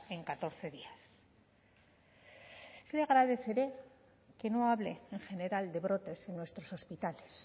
en catorce días le agradeceré que no hable en general de brotes en nuestros hospitales